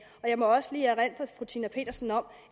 og jeg må også lige erindre fru tina petersen om